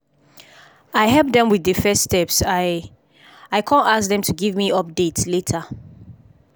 i help dem with the first steps i i come ask dem to give me update later.